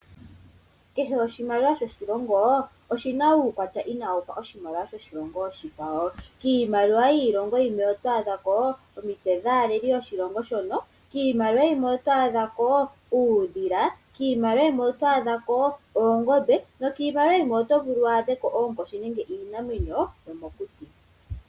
Kehe oshimaliwa shoshilongo oshina uukwatya inawufa oshimaliwa shoshilongo oshikwawo. Kiimaliwa yiilongo yimwe oto adhako omitse dhaaleli yoshilongo shono, kiimaliwa yimwe oto adhako uudhila, kiimaliwa yimwe oto adhako oongombe, nokiimaliwa yimwe oto vulu wu adheko oonkoshi nenge iinamwenyo yomokuti.